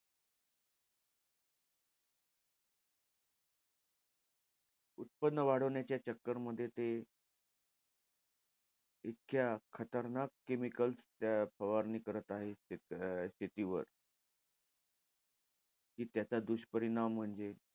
उत्पन्न वाढवण्याच्या चक्करमध्ये ते इतक्या खतरनाक chemicals त्या फवारणी करत आहे. ते अं शेतीवर. कि त्याचा दुष्परिणाम म्हणजे,